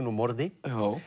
og morði